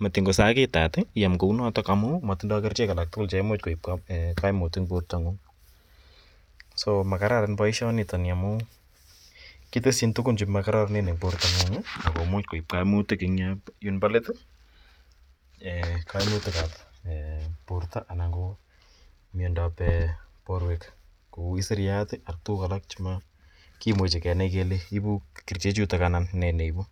matiny kosakitat iam kou notok amu natindai kerichek alak tugul che imuch koip kaimut eng' portong'ung'. So makararan poishonitani amu kiteschin tugun che makararan en sapeng'ung' ako much koip kaimutik eng' yun po let. Kaimutikap porto anan ko miando ap porwek kou isiryat ak tuguk alak che makimuch kenai kole ipuch kerichutok anan ne ne ipu.